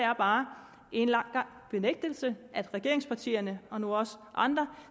er bare en lang gang benægtelse at regeringspartierne og nu også andre